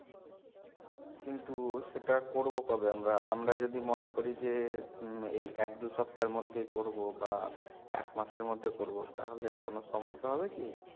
কিন্তু সেটা করবো কবে আমরা, আমরা যদি মনে করি যে এই এক দু সপ্তার মধ্যে বা এক মাসের মধ্যে করবো তাহলে কোনো সমস্যা হবে কি?